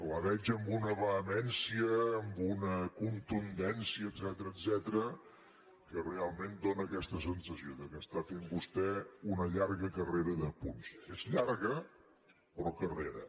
la veig amb una vehemència amb una contundència etcètera que realment dóna aquesta sensació que està fent vostè una llarga carrera de punts és llarga però carrera